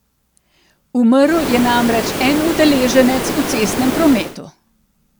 Umrl je namreč en udeleženec v cestnem prometu.